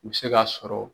U bɛ se k'a sɔrɔ